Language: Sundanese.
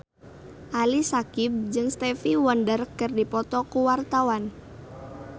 Ali Syakieb jeung Stevie Wonder keur dipoto ku wartawan